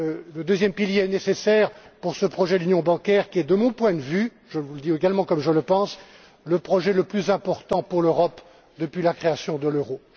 Ce deuxième pilier est nécessaire pour ce projet d'union bancaire, qui est, de mon point de vue je vous le dis également comme je le pense le projet le plus important pour l'Europe depuis la création de l'euro.